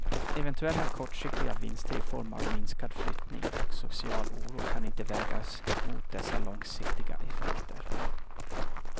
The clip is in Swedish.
Eventuella kortsiktiga vinster i form av minskad flyttning och social oro kan inte vägas mot dessa långsiktiga effekter.